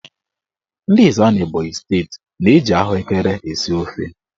Ndị Ezza n'Ebonyi steeti na-eji ahụekere esi ofe.